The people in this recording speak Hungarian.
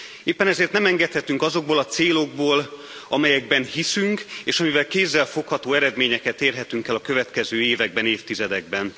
Éppen ezért nem engedhetünk azokból a célokból, amelyekben hiszünk, és amelyekkel kézzelfogható eredményeket érhetünk el a következő években, évtizedekben.